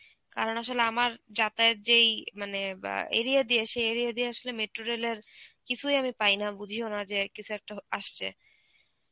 কারণ আসলে আমার যাতায়াত যেই মানে অ্যাঁ area দিয়ে সেই area দিয়ে আসলে metro rail এর কিছুই আমি পাই না, বুঝিও না যে কিছু একটা হ~ আসছে.